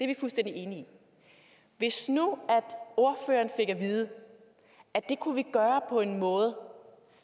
vi fuldstændig enige i hvis nu ordføreren fik at vide at det kunne vi gøre på en måde